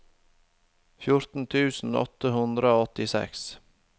fjorten tusen åtte hundre og åttiseks